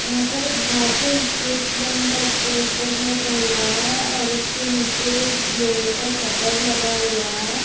यहाँ पर एक भारतीय स्टेट बैंक का पोस्टर लगा हुआ है। और उसके नीचे लोहे का शटर लगा हुआ है।